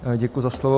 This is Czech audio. Děkuji za slovo.